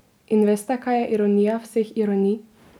In veste, kaj je ironija vseh ironij?